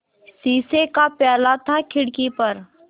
शीशे का प्याला था खिड़की पर